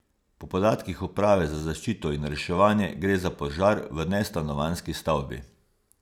Po podatkih uprave za zaščito in reševanje gre za požar v nestanovanjski stavbi.